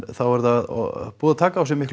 þá er það búið að taka á sig